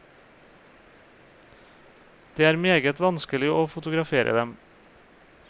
Det er meget vanskelig å fotografere dem.